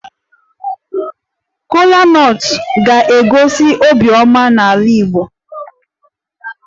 Kola nut ga-egosi obiọma n'ala Igbo